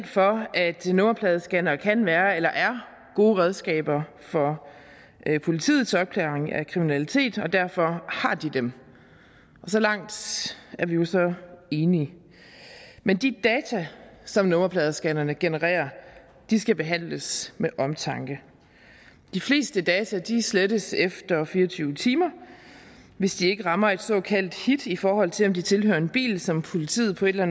for at nummerpladescannere kan være eller er gode redskaber for politiets opklaring af kriminalitet derfor har de dem så langt er vi jo så enige men de data som nummerpladescannerne genererer skal behandles med omtanke de fleste data slettes efter fire og tyve timer hvis de ikke rammer et såkaldt hit i forhold til om de tilhører en bil som politiet på en eller